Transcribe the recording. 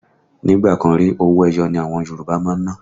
Nígbà kan rí, owó ẹyọ ni àwọn Yòrùbá máa ń ná